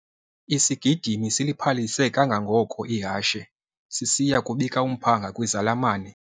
Isigidimi siliphalise kangangoko ihashe sisiya kubika umphanga kwizalamane.